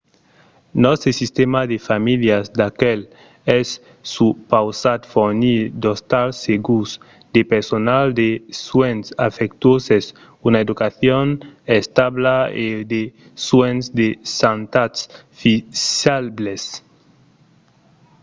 nòstre sistèma de familhas d'acuèlh es supausat fornir d'ostals segurs de personal de suènhs afectuoses una educacion establa e de suènhs de santat fisables